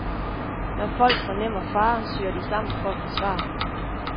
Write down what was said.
Når folk fornemmer fare, søger de sammen for at forsvare sig.